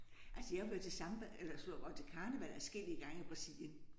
Altså jeg har været til samba eller sludder og vrøvl til karneval adskillige gange i Brasilien